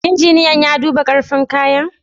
Injiniyan ya duba karfin kayan?